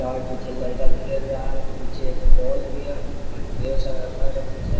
चार पीछे लड़का खेल रहा है पीछे एक पोल भी है अर ढेर सारा घर है पीछे।